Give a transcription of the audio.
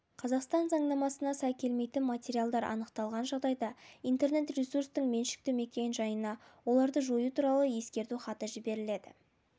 қазақстан заңнамасына сай келмейтін материалдар анықталған жағдайда интернет-ресурстың меншікті мекен-жайына оларды жою туралы ескерту хаты жіберіледі